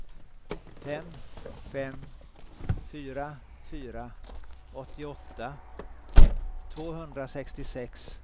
fem fem fyra fyra åttioåtta tvåhundrasextiosex